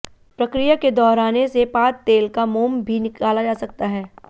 प्रक्रिया के दोहराने से पाद तेल का मोम भी निकाला जा सकता है